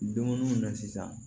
Dumuni mun na sisan